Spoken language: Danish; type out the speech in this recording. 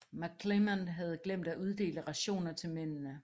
McClernand havde glemt at uddele rationer til mændene